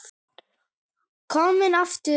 Kominn aftur?